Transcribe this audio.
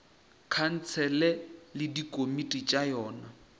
khansele le dikomiti tša yona